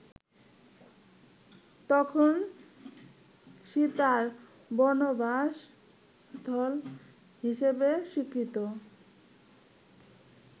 তখন সীতার বনবাসস্থল হিসেবে স্বীকৃত